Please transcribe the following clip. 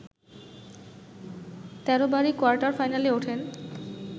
১৩ বারই কোয়ার্টার ফাইনালে ওঠেন